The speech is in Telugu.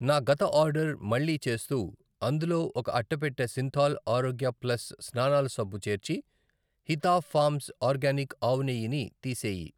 నా గత ఆర్డర్ మళ్ళీ చేస్తూ అందులో ఒక అట్టపెట్టె సింథాల్ ఆరోగ్య ప్లస్ స్నానాల సబ్బు చేర్చి హితా ఫామ్స్ ఆర్గానిక్ ఆవునెయ్యి ని తీసేయి. .